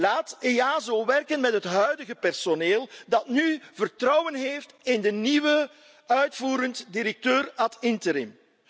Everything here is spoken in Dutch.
Laat EASO werken met het huidige personeel dat nu vertrouwen heeft in de nieuwe uitvoerend directeur ad interim.